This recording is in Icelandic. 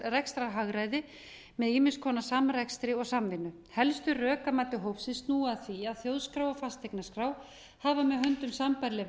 rekstrarhagræði með ýmiss konar samrekstri og samvinnu helstu rök að mati hópsins snúa að því að þjóðskrá og fasteignaskrá hafa með höndum sambærileg